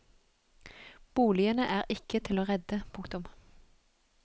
Boligene er ikke til å redde. punktum